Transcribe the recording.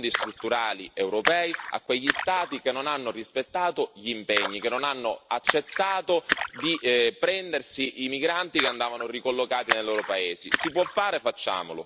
Tagliamo i fondi strutturali europei a quegli Stati che non hanno rispettato gli impegni, che non hanno accettato di prendersi i migranti che andavano ricollocati nel loro paese.